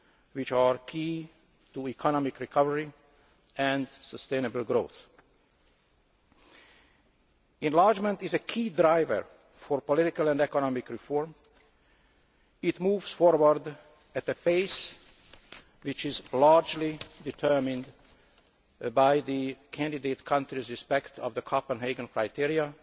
which are key to economic recovery and sustainable growth. Enlargement is a key driver for political and economic reform. It moves forward at a pace which is largely determined by the candidate country's respect of the Copenhagen criteria